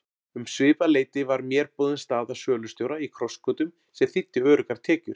Um svipað leyti var mér boðin staða sölustjóra í Krossgötum sem þýddi öruggar tekjur.